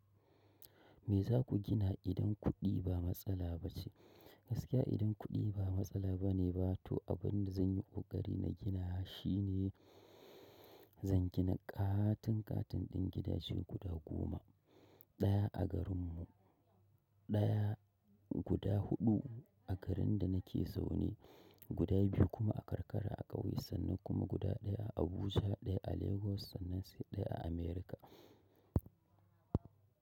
Me za ku gina idan kuɗi ba matsala ba ce? Gaskiya idan kuɗi ba matsala ba ne ba to abin da zan yi ƙoƙari na gina shi ne zan gina ƙatun ƙatun ɗin gidaje guda goma. Ɗaya a garin mu, ɗaya guda huɗu a garin da nake zaune, guda biyu kuma a karkara a ƙauye sannan kuma guda ɗaya a Abuja, ɗaya a Lagos sannan sai ɗaya a Amerika.